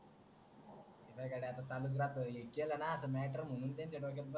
घरच्यांचं काय चालूच राहतं केलं ना matter म्हणून त्यांच्या डोक्यात बसतं